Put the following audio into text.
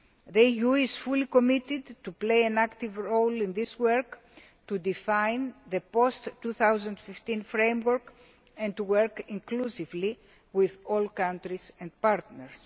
The EU is fully committed to playing an active role in this work, to define the post 2015 framework and to work inclusively with all countries and partners.